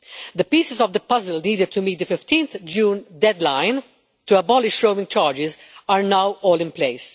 The pieces of the puzzle leading to meet the 15 June deadline to abolish roaming charges are now all in place.